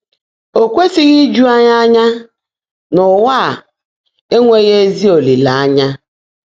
Ó kwèsị́ghị́ íjú ányị́ ányá ná ụ́wà á énweghị́ ézí ólìléényá.